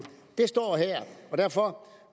det står her og derfor